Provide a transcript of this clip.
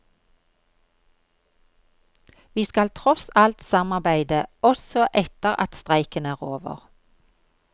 Vi skal tross alt samarbeide også etter at streiken er over.